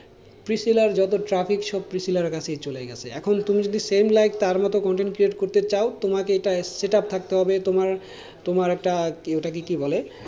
যত traffic সব কাছে চলে গেছে এখন তুমি যদি same like তার মতন content create করতে চাও, তোমাকে একটা setup থাকতে হবে তোমার একটা ওটাকে কি বলে,